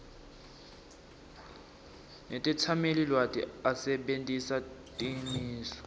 netetsamelilwati asebentisa timiso